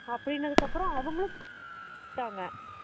அப்படினதுக்கப்பரம் அவங்களும் விட்டாங்க